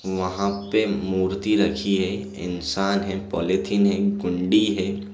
वहाँ पे मूर्ति रखी है इंसान है पॉलिथीन है कुंडी है।